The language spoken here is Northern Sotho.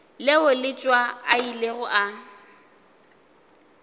leo letšwa a ilego a